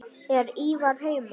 Er Ívar heima?